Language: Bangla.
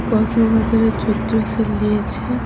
কসমো বাজারে চৈত্র সেল দিয়েছে।